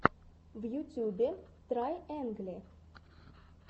в ютюбе трайэнгли